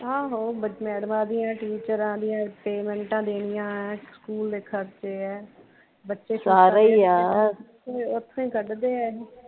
ਆਹੋ ਬੱਚਿਆਂ ਮੈਡਮਾਂ ਦੀਆ ਟੀਚਰਾਂ ਦੀਆ ਪੇਮੈਂਟਾਂ ਦੇਣੀਆਂ ਏ ਸਕੂਲ ਦੇ ਖਰਚੇ ਏ ਇੱਥੋਂ ਹੀ ਕੱਢਦੇ ਇਹ